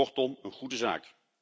Kortom, een goede zaak.